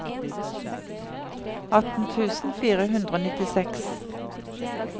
atten tusen fire hundre og nittiseks